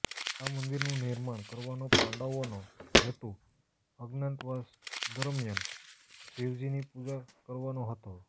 આ મંદિરનું નિર્માણ કરવાનો પાંડવોનો હેતુ અજ્ઞાતવાસ દરમિયાન શિવજીની પૂજા કરવાનો હતો